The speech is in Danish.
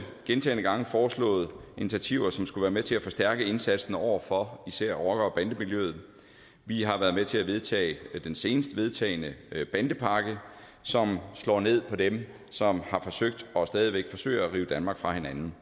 gentagne gange foreslået initiativer som skulle være med til at forstærke indsatsen over for især rocker bande miljøet vi har været med til at vedtage den senest vedtagne bandepakke som slår ned på dem som har forsøgt og stadig væk forsøger at rive danmark fra hinanden